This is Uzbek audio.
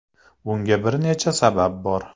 Bunga bir necha sabab bor.